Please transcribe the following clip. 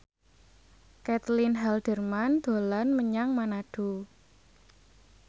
Caitlin Halderman dolan menyang Manado